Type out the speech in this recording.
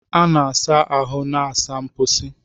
Ị na-asa ahụ na saa mposi.